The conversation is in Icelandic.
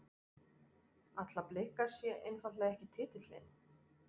Ætla Blikar sér einfaldlega ekki titilinn?